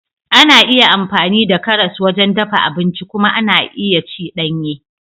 Ana iya amfani da karas wajen dafa abinci kuma ana iya ci danye.